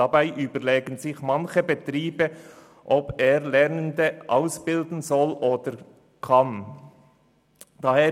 Dabei überlegen sich manche Betriebe, ob sie Lernende ausbilden sollen oder dies überhaupt können.